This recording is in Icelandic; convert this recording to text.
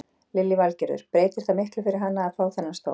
Lillý Valgerður: Breytir það miklu fyrir hana að fá þennan stól?